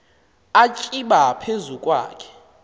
atsiba phezu kwakhe